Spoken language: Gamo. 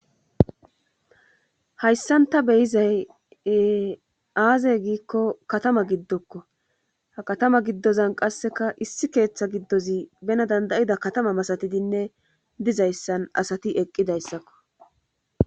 hayssan ta beyizay e aazey giikko katama giddokko ha katama giddozan qasseka issi keeththa giddozi bena dandayida katama masatidinne dizayssan asati eqqidayssakko